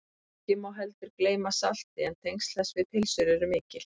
ekki má heldur gleyma salti en tengsl þess við pylsur eru mikil